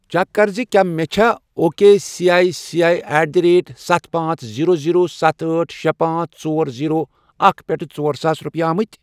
Check کَر زِ کیٛاہ مےٚ چھےٚ O K C I C I at the rate ستھَ، پانژھ، زیٖرو، زیٖرو، ستھَ، أٹھ، شے، پانژھ، ژور، زیٖرو، اکھَ، پٮ۪ٹھٕ ژور ساس رۄپیہِ آمٕتی۔